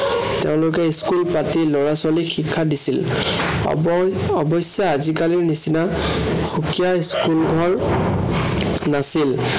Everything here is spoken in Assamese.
তেওঁলোকে school পাতি লৰা-ছোৱালীক শিক্ষা দিছিল। অৱঅৱশ্য়ে আজিকালিৰ নিচিনা সুকীয়া school ঘৰ নাছিল।